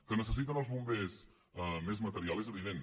que necessiten els bombers més material és evident